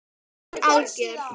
Þú ert algjör!